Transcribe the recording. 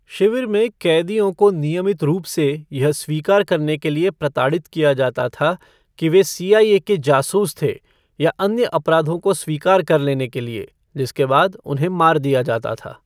शिविर में कैदियों को नियमित रूप से यह स्वीकार करने के लिए प्रताड़ित किया जाता था कि वे सीआईए जासूस थे, या अन्य अपराधों को स्वीकार कर लेने के लिए, जिसके बाद उन्हें मार दिया जाता था।